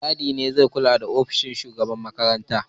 Mai gadi ne zai kulle ofishin shugaban makaranta.